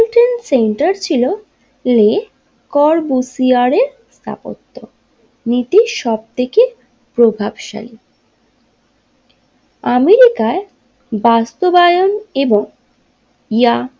Trade centre ছিল যে কর বুসিয়ারের স্থাপত্য নীতি সব থেকে প্রভাবশালী আমেরিকায় বাস্তবায়ন এবং ইয়া।